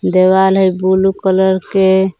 देवाल हइ blue colour के --